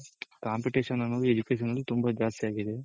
competition ಅನ್ನೋದು Education ಅಲ್ಲಿ ತುಂಬಾ ಜಾಸ್ತಿ ಆಗಿದೆ.